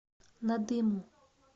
надыму